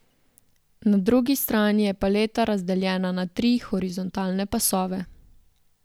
Na drugi strani je paleta razdeljena na tri horizontalne pasove.